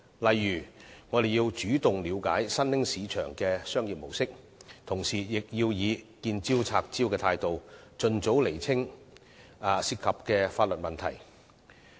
例如，我們要主動了解新興市場的商業模式，同時以"見招拆招"的態度，盡早釐清牽涉的法律問題。